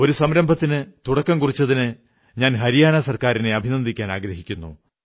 ഒരു സംരംഭത്തിനു തുടക്കം കുറിച്ചതിന് ഞാൻ ഹരിയാനാ സർക്കാരിനെ അഭിനന്ദിക്കാനാഗ്രഹിക്കുന്നു